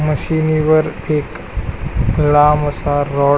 मशिनि वर एक लांब असा रॉड--